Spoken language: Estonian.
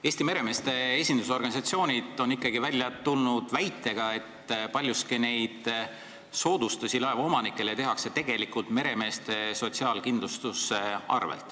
Eesti meremeeste esindusorganisatsioonid on välja tulnud väitega, et paljuski tehakse neid soodustusi laevaomanikele tegelikult meremeeste sotsiaalkindlustuse arvel.